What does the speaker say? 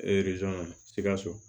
sikaso